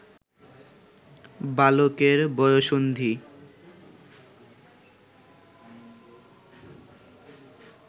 বালকের বয়ঃসন্ধি